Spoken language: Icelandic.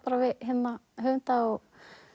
við höfunda og